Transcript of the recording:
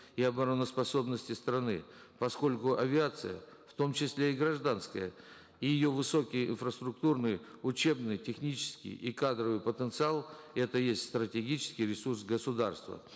и обороноспособности страны поскольку авиация в том числе и гражданская и ее высокие инфраструктурные учебные технические и кадровый потенциал это и есть стратегический ресурс государства